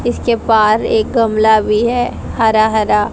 इसके पार एक गमला भी है हरा हरा।